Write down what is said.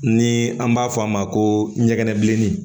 Ni an b'a fɔ a ma ko ɲɛgɛn bilennin